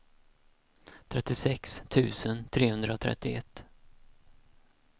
trettiosex tusen trehundratrettioett